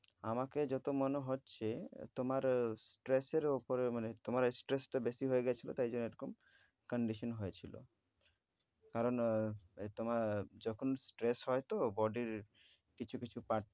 আমাকে যত মনে হচ্ছে আহ তোমার stress এর ওপরে মানে তোমার stress টা বেশি হয়ে গেছিল তাই জন্যে এরকম condition হয়েছিল। কারণ আহ আহ তোমার আহ যখন stress হয় তো body এর কিছু কিছু part